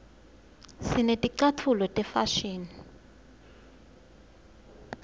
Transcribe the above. sineticatfulo tefashini